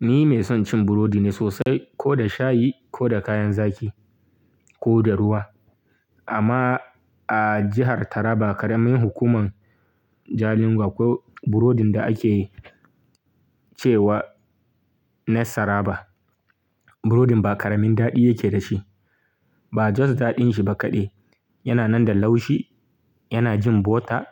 Ni mai son cin burodi ne sosai, ko da shayi, ko da kayan zaki, ko da ruwa. Amma a jihar Taraba, karamin hukuman Jalingo akwai burodin da ake cewa na Saraba. Burodin ba ƙaramin daɗi yake da shi, ba just daɗin shi ba kaɗai, yana nan da laushi, yana jin butter,